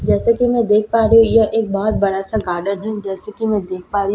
जैसा कि मैं देख पा रही हूँ यह एक बहुत बड़ा सा गार्डन है जैसा कि मैं देख पा रही हूँ --